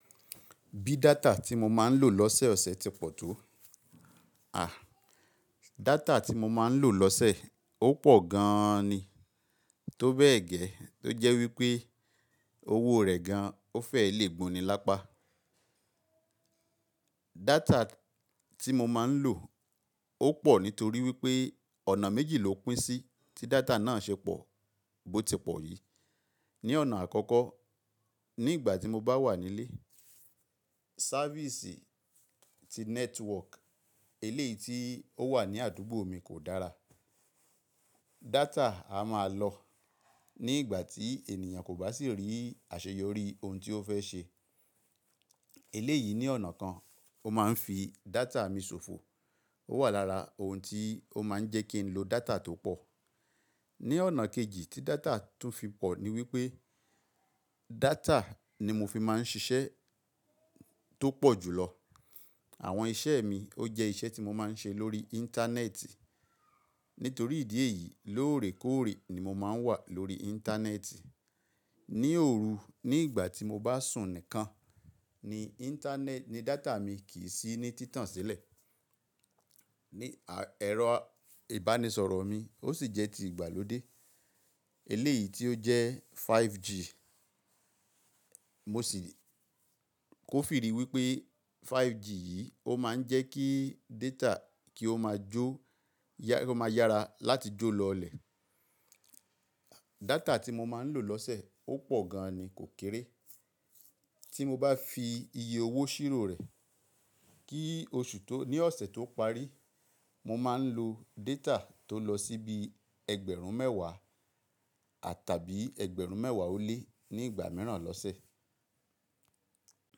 Bí data tí mo máa ń lò lọ́sẹ̀ ọ̀sẹ̀ ti pọ̀ tó? À, data tí mo máa ń lò lọ́sẹ̀ ó pọ̀ gan an ni. Tó bẹ́ẹ̀ gẹ́, tó jẹ́ wípé owó rẹ̀ gan ó fẹ́ lè gboni lápá. Data tí mo máa ń lò ó pọ̀ nítorí wípé ọ̀nà méjì ló pín sí tí data náà ṣe pọ̀, bó ti pọ̀ yìí. Ní ọ̀nà àkọ́kọ́, ní ìgbà tí mo bá wà nílé, sáfísì ti nẹ́tíwọ́ọ̀k ilé tí ó wà ní àdúgbò mi kò dára. Data a máa lọ ní ìgbà tí ènìyàn kò bá sì rí àṣeyọrí ohun tí ó fẹ́ ṣe. Ilé yìí ní ọ̀nà kan ó máa ń fi data mi ṣòfò. Ó wà lára ohun tí ó máa ń jẹ́ kí n lo data tó pọ̀. Ní ọ̀nà kejì tí data tún fi pọ̀ ni wípé data ni mo fi máa ń ṣiṣẹ́ tó pọ̀ jù lọ. Àwọn iṣẹ́ mi ó jẹ́ iṣẹ́ tí mo máa ń ṣe lórí íńtánẹ́ẹ̀tì. Nítorí ìdí èyí, lóòrèkóòrè ni mo máa ń wà lórí íńtánẹ́ẹ̀tì. Ní òru, ní ìgbà tí mo bá sùn nìkan ni íńtánẹ́ẹ̀tì ni data mi kì í sí ní títàn sílẹ̀. Ní ẹ̀rọ ìbánisọ̀rọ̀ mi ó sì jẹ́ ti ìgbàlódé. Ilé yìí tí ó jẹ́ 5G, mo sì kò fi rí wípé 5G yìí ó máa ń jẹ́ kí data kí ó máa jó, kí ó máa yára láti jó lọ ilẹ̀. Data tí mo máa ń lò lọ́sẹ̀ ó pọ̀ gan an ni, kò kéré. Tí mo bá fi iye owó ṣírò rẹ̀, kí oṣù tó, ní ọ̀sẹ̀ tó parí, mo máa ń lo data tó lọ sí bí ẹgbẹ̀rún mẹ́wàá àtàbí ẹgbẹ̀rún mẹ́wàá ó lé ní ìgbà mìíràn lọ́sẹ̀.